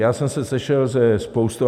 Já jsem se sešel se spoustou...